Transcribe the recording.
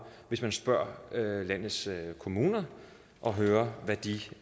hvis man spørger landets kommuner og hører hvad de